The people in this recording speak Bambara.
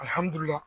Alihamudulila